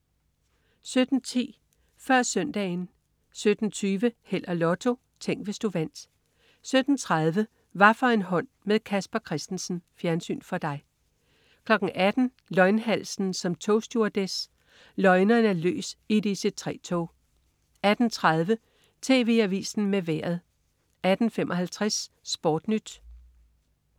17.10 Før Søndagen 17.20 Held og Lotto. Tænk, hvis du vandt 17.30 Hvaffor en hånd med Casper Christensen. Fjernsyn for dig 18.00 Løgnhalsen som togstewardesse. Løgneren er løs i et IC3-tog 18.30 TV Avisen med Vejret 18.55 SportNyt